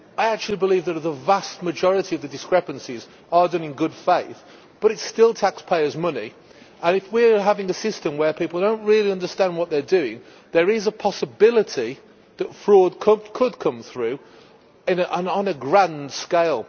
I actually believe that a vast majority of the discrepancies are done in good faith, but it is still taxpayers' money, and if we have a system where people do not really understand what they are doing, there is a possibility that fraud could come through, and on a grand scale.